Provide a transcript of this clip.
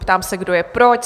Ptám se, kdo je pro?